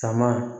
Sama